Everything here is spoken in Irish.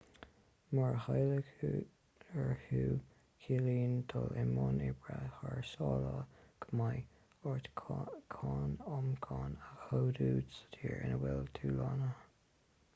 mura taidhleoir thú ciallaíonn dul i mbun oibre thar sáile go mbeidh ort cáin ioncaim a chomhdú sa tír ina bhfuil tú lonnaithe